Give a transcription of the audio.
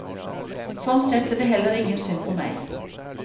Sånn sett er det heller ingen synd på meg.